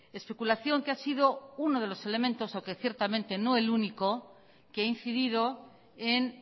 especulación que ha sido uno de los elementos o que ciertamente no el único que ha incidido en